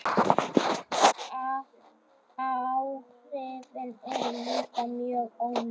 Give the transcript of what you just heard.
Áhrifin eru líka mjög óljós.